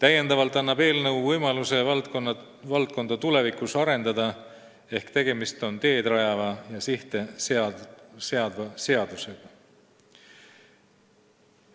Eelnõu annab võimaluse tulevikus kübervaldkonda arendada, seega tegemist on teed rajava ja sihte seadva seadusega.